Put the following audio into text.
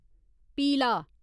पीला